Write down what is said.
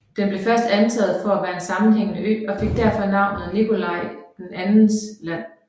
Den blev først antaget for at være en sammenhængende ø og fik derfor navnet Nikolai IIs land